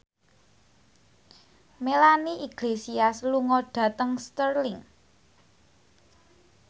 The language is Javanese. Melanie Iglesias lunga dhateng Stirling